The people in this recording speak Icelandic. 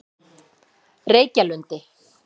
Reykjalundi